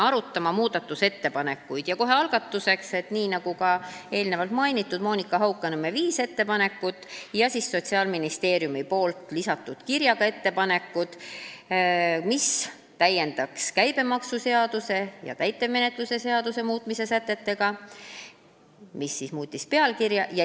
Ütlen kohe algatuseks, et jutt on eelnevalt mainitud Monika Haukanõmme viiest ettepanekust ja Sotsiaalministeeriumi kirja teel lisatud ettepanekutest, mis täiendavad käibemaksuseaduse ja täitemenetluse seadustiku sätteid ning muudavad eelnõu pealkirja.